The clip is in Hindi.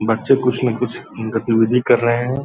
बच्चे कुछ ना कुछ गतिविधि कर रहे हैं।